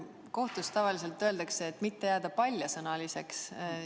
Kohtus tavaliselt öeldakse, "et mitte jääda paljasõnaliseks".